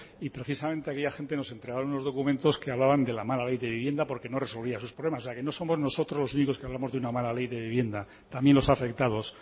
y precisamente aquella gente nos entregaron unos documentos que hablaba de la mala ley de vivienda porque no resolvía sus problemas o sea que no somos nosotros los únicos que hablamos de una mala ley de vivienda también los afectados